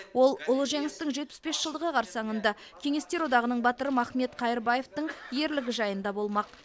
ол ұлы жеңістің жетпіс бес жылдығы қарсаңында кеңестер одағының батыры махмет қайырбаевтың ерлігі жайында болмақ